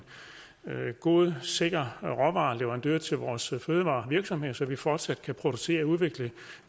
god sikker råvareleverandør til vores fødevarevirksomheder så vi fortsat kan producere og udvikle